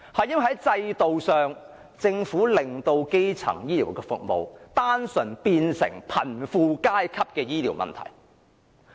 原因是，政府令基層醫療服務演變成單純的貧富階級醫療問題。